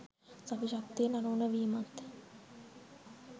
සවි ශක්තියෙන් අනූන වීමත්